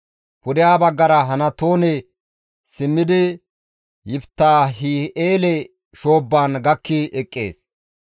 Pudeha baggara Hanatoone simmidi Yiftaahi7eele shoobbaan gakki eqqees.